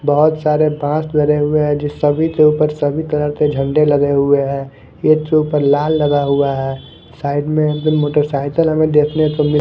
बहोत सारे बाज़ भरे हुए है जो सभी के ऊपर सभी तरह के झंडे लगे हुए है एक के ऊपर लाल लगा हुआ है साइड में उनके मोटरसाइकिल हमे देखने को मिल --